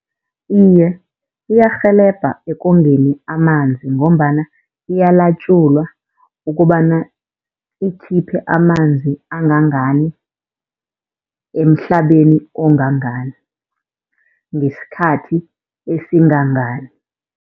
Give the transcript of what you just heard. Iye, iyarhelebha ekongeni amanzi, ngombana iyalatjulwa ukobana ikhiphe amanzi angangani, emhlabeni ongangani, ngesikhathi esingangani.